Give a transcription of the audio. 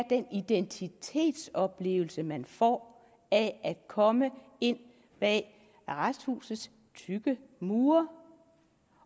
identitetsoplevelse man får af at komme ind bag arresthusets tykke mure